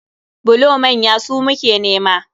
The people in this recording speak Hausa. Bulo manya su muke nema.